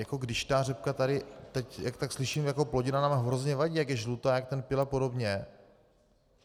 Jako když ta řepka tady teď, jak tak slyším, jako plodina nám hrozně vadí, jak je žlutá, jak ten pyl a podobně.